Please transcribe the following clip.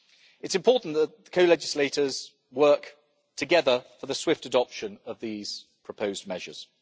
It is important that the co legislators work together for the swift adoption of these proposed measures.